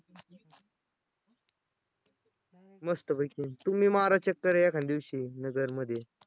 मस्तपैकी तुम्ही मारा एखांद्या दिवशी चक्कर नगरमध्ये